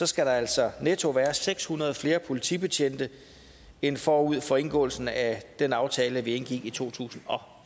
skal der altså netto være seks hundrede flere politibetjente end forud for indgåelsen af den aftale vi indgik i to tusind og